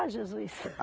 Ah, Jesus!